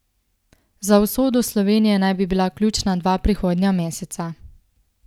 Za usodo Slovenije naj bi bila ključna dva prihodnja meseca.